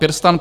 PirSTAN -